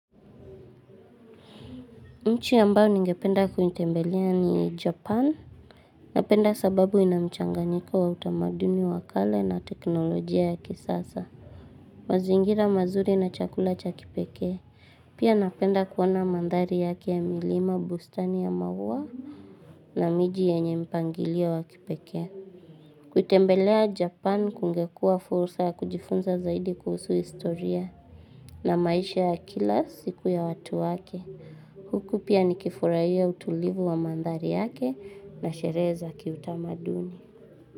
Nji ambayo ningependa kuitembelea ni Japan. Napenda sababu inamchanganyika wa utamaduni wakale na teknolojia ya kisasa. Mazingira mazuri na chakula cha kipekee. Pia napenda kuona mandhari yake ya milima, bustani ya maua na miji yenye mipangilio wa kipekee. Kutembelea Japan kungekuwa fursa ya kujifunza zaidi kuhusu historia. Na maisha ya kila siku ya watu wake. Huku pia ni kifurahia utulivu wa mandhari yake na sherehe za kiutamaduni.